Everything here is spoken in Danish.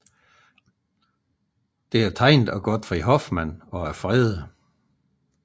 Det er tegnet af Gottfried Hoffmann og er fredet